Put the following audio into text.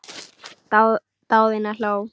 Daðína hló.